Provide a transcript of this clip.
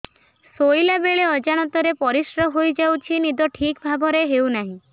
ଶୋଇଲା ବେଳେ ଅଜାଣତରେ ପରିସ୍ରା ହୋଇଯାଉଛି ନିଦ ଠିକ ଭାବରେ ହେଉ ନାହିଁ